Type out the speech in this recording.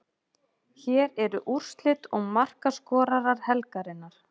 Hér eru úrslit og markaskorara helgarinnar: